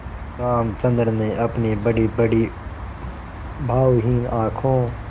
रामचंद्र ने अपनी बड़ीबड़ी भावहीन आँखों